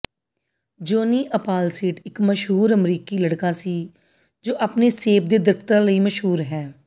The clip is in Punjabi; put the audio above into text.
ਜੌਨੀ ਅਪਾਲਸੀਡ ਇੱਕ ਮਸ਼ਹੂਰ ਅਮਰੀਕੀ ਲੜਕਾ ਸੀ ਜੋ ਆਪਣੇ ਸੇਬ ਦੇ ਦਰਖਤਾਂ ਲਈ ਮਸ਼ਹੂਰ ਹੈ